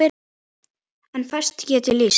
En fæstum get ég lýst.